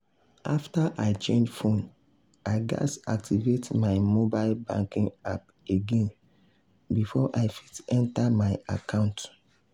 after i change phone i gatz activate my mobile banking app again before i fit enter my account.